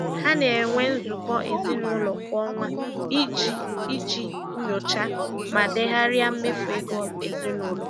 Ha na-enwe nzukọ ezinụlọ kwa ọnwa iji iji nyochaa ma degharịa mmefu ego ezinụlọ.